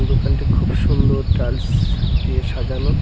দোকানটি খুব সুন্দর টাইলস দিয়ে সাজানো।